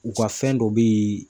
U ka fɛn dɔ be yen.